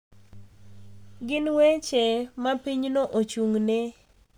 Gin weche ma pinyno ochung’ne.